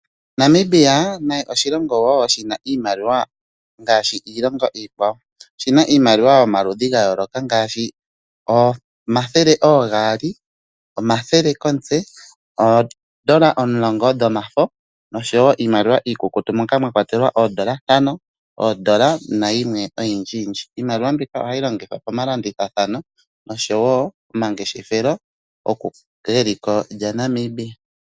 Namibia naye oshilongo wo shi na iimaliwa ngaashi iilongo iikwawo. Oshina iimaliwa yomaludhi ga yooloka ngaashi omathele oogaali, omathele komutse, oodola omulongo dhomafo nosho wo iimaliwa iikukutu moka mwa kwatelwa oodola ntano, oodola nayimwe oyindjiyindji. Iimaliwa mbika ohayi longithwa pomalandithathano nosho wo pomangeshefelo geliko lyaNamibia.